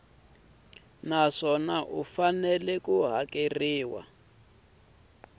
naswona u fanele ku hakeriwa